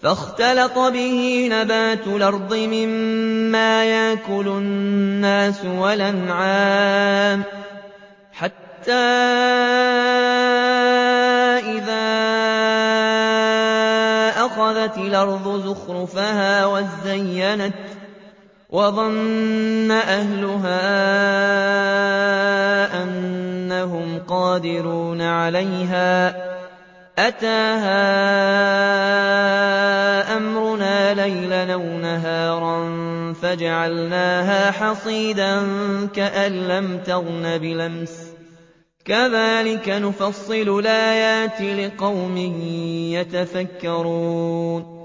فَاخْتَلَطَ بِهِ نَبَاتُ الْأَرْضِ مِمَّا يَأْكُلُ النَّاسُ وَالْأَنْعَامُ حَتَّىٰ إِذَا أَخَذَتِ الْأَرْضُ زُخْرُفَهَا وَازَّيَّنَتْ وَظَنَّ أَهْلُهَا أَنَّهُمْ قَادِرُونَ عَلَيْهَا أَتَاهَا أَمْرُنَا لَيْلًا أَوْ نَهَارًا فَجَعَلْنَاهَا حَصِيدًا كَأَن لَّمْ تَغْنَ بِالْأَمْسِ ۚ كَذَٰلِكَ نُفَصِّلُ الْآيَاتِ لِقَوْمٍ يَتَفَكَّرُونَ